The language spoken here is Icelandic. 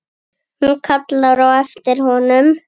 Hún kallar á eftir honum.